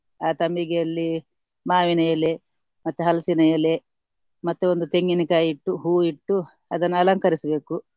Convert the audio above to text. ಆ ತಂಬಿಗೆಯಲ್ಲಿ ಮಾವಿನ ಎಲೆ ಮತ್ತೆ ಹಲಸಿನ ಎಲೆ ಮತ್ತೆ ಒಂದು ತೆಂಗಿನ ಕಾಯಿ ಇಟ್ಟು ಹೂವು ಇಟ್ಟು ಅದನ್ನು ಅಲಂಕರಿಸ್ಬೇಕು.